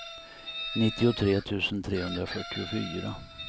nittiotre tusen trehundrafyrtiofyra